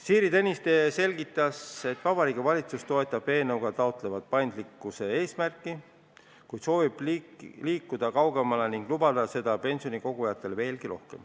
Siiri Tõniste selgitas, et Vabariigi Valitsus toetab eelnõuga taotletavat paindlikkuse eesmärki, kuid soovib liikuda kaugemale ning lubada pensionikogujatele veelgi rohkem.